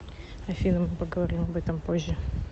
афина мы поговорим об этом позже